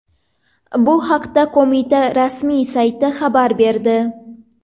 Bu haqda Qo‘mita rasmiy sayti xabar berdi .